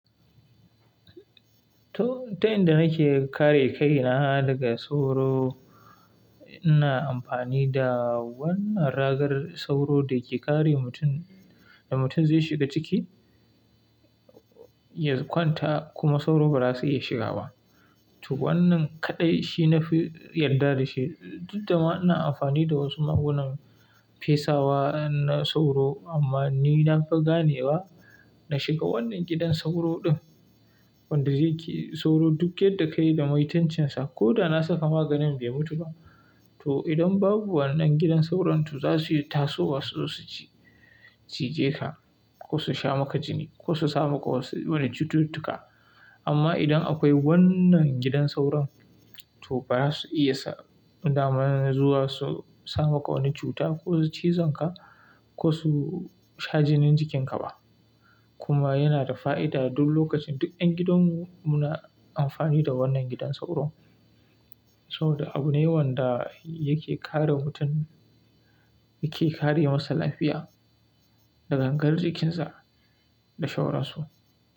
To, ta yanda nake kare kai na daga sauro, ina amfani da wannan ragar sauro da ke kare mutum, da mutum zai shiga ciki, ya kwanta kuma sauro ba za su iya shiga ba. To wannan kaɗai shi nafi yadda da shi. Duk da ma ina amfani da wasu magungunan fesawa na sauro, amma ni na fi gane wa na shiga wannan gidan sauro ɗin wanda zai ki sauro duk yadda ka yi da maitancinsa. Ko da na saka maganin bai mutu ba. To idan babu wannan gidan sauranto za suyi tasowa su zo su cije ka ko su sha maka jini ko su sa maka wasu wani cututtuka. Amma idan akwai wannan gidan sauron, to ba za su iya daman zuwa su sa maka wani cuta ko su cizon ka ko su sha jinin jikin ka ba. Kuma yana da fa'ida, duk lokacin duk ƴan gidan mu muna amfani da wannan gidan sauro. Saboda abu ne wanda yake kare mutum, yake kare masa lafiya, da gangar jikin sa, da sauran su.